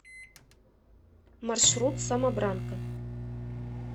маршрут самобранка